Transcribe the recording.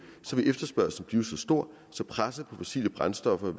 så vil efterspørgslen blive så stor at presset på fossile brændstoffer